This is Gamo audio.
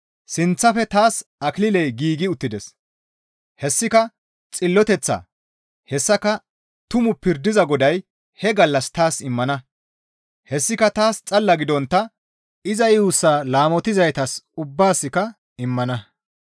Sinththafe taas akililey giigi uttides; hessika xilloteththa; hessaka tumu pirdiza Goday he gallas taas immana; hessika taas xalla gidontta iza yuussaa laamotizaytas ubbaasikka immana.